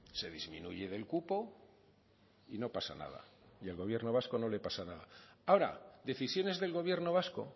se disminuye del cupo y no pasa nada y el gobierno vasco no le pasa nada ahora decisiones del gobierno vasco